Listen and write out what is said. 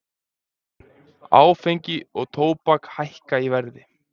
Áfengi og tóbak hækka í verði